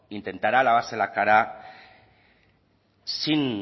intentará lavarse la cara sin